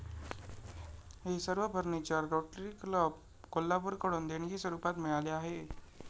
हे सर्व furniture Rotary Club, कोल्हापूरकडून देणगीस्वरुपात मिळाले आहे.